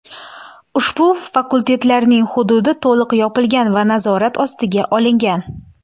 Ushbu fakultetlarning hududi to‘liq yopilgan va nazorat ostiga olingan.